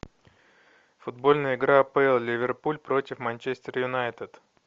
футбольная игра апл ливерпуль против манчестер юнайтед